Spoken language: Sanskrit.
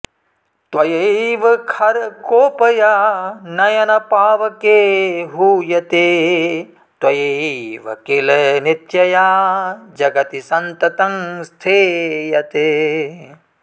त्वयैव खरकोपया नयनपावके हूयते त्वयैव किल नित्यया जगति सन्ततं स्थीयते